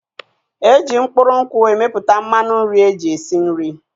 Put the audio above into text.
Eji mkpụrụ nkwụ emepụta mmanụ nri eji esi nri.